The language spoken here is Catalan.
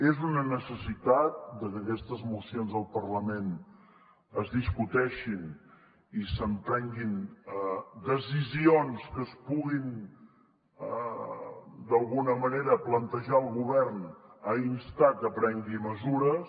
és una necessitat que aquestes mocions al parlament es discuteixin i s’emprenguin decisions que es puguin d’alguna manera plantejar al govern a instar que prengui mesures